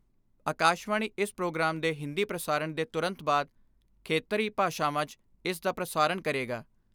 ਆਕਾਸ਼ਵਾਣੀ ਇਸ ਪ੍ਰੋਗਰਾਮ ਦੇ ਹਿੰਦੀ ਪੁਸਾਰਣ ਦੇ ਤੁਰੰਤ ਬਾਅਦ, ਖੇਤਰੀ ਭਾਸਾਵਾਂ 'ਚ ਇਸ ਦਾ ਪ੍ਰਸਾਰਣ ਕਰੇਗਾ।